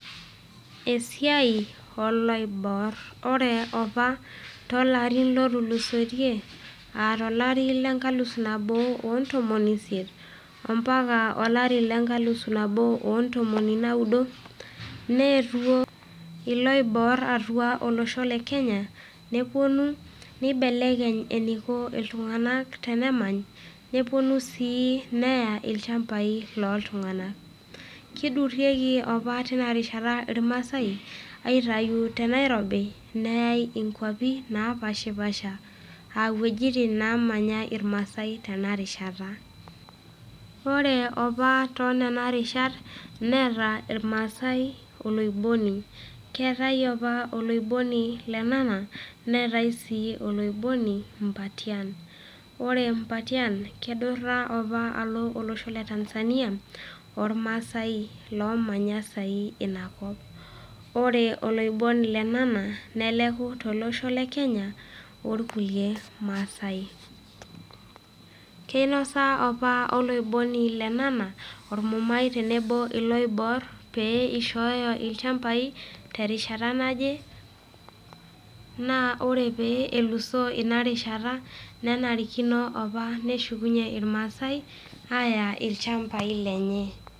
Esiai o iloibor, ore opa too ilarin loo tulusoitie, aa tolari le nkalusu nabo oo iip intomoni isiet ompaka olari le nkalusu nabo oo ntomoni naudo, neetuo iloibor atua olosho le Kenya, nepuonu neibelekeny eneiko iltung'ana tenemanyisho, nepuonu sii neyaa ilchambai loltung'ana. Keidurieki opa teina rishata opa ilmaasai, aitayu te Nairobi neyai inkwapi napaashi paasha aa inwuetin namanya ilmaasai tenarishata. Ore opa too nena rishat, neata ilmaasai oloiboni, keatai opa oloiboni Lenana, neatai sii oloiboni Mbatiany. Ore Mbatiany neidura opa alo olosho le Tanzania, olmaasai oomanya saai Ina kop. Ore oloiboni Lenana neleku tolosho le Kenya ilkulie maasai. Keinosa opa oloiboni Lenana olmumai tenebo o iloibor, pee eishooyo ilchambai terishata naje, naa ore pee elusoo Ina rishata, nenarikino opa neshukunye ilmaasai aaya ilchambai lenye.